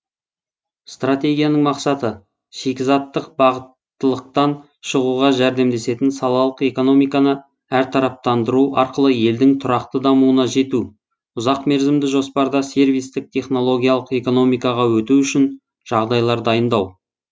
стратегияның мақсаты шикізаттық бағыттылықтан шығуға жәрдемдесетін салалық экономиканы әртараптандыру арқылы елдің тұрақты дамуына жету ұзақ мерзімді жоспарда сервистік технологиялық экономикаға өту үшін жағдайлар дайындау